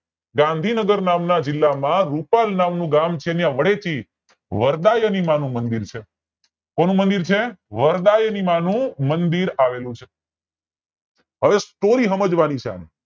ગાંધીનગર નામ ના જિલ્લા માં રૂપાલ નામનું ગામ છે ત્યાં વરદાયીની માંનુંમંદિર છે છે કોનું મંદિર છે વરદાયીની માનું મંદિર આવેલું છે હવે story સમજવાની છે